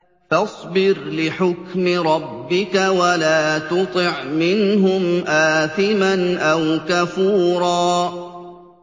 فَاصْبِرْ لِحُكْمِ رَبِّكَ وَلَا تُطِعْ مِنْهُمْ آثِمًا أَوْ كَفُورًا